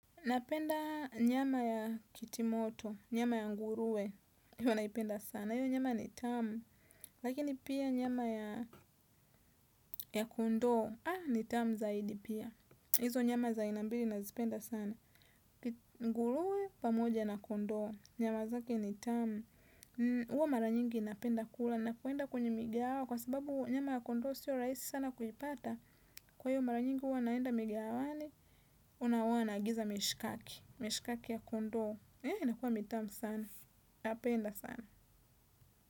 Napenda nyama ya kitimoto, nyama ya ngurue, iyo naipenda sana, iyo nyama ni tamu, lakini pia nyama ya kondo, ni tamu zaidi pia, hizo nyama za ainambili nazipenda sana, ngurue pamoja na kondo, nyama zake ni tamu, huwa mara nyingi napenda kula na kuenda kwenye migawa kwa sababu nyama ya kondoo sio rahisi sana kuipata kwa hivyo mara nyingi huwa naenda migawani unaona naagiza mishikaki mishikaki ya kondoo inakuwa mitamu sana napenda sana.